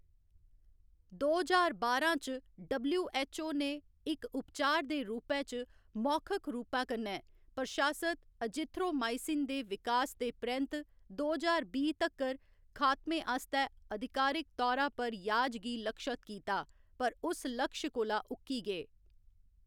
दो ज्हार बारां च, डबल्यू.ऐच्च.ओ. ने इक उपचार दे रूपै च मौखिक रूपा कन्नै प्रशासत एजिथ्रोमाइसिन दे विकास दे परैंत्त दो ज्हार बीह्‌ तक्कर खात्मे आस्तै अधिकारक तौरा पर याज गी लक्षत कीता, पर उस लक्ष्य कोला उक्की गे।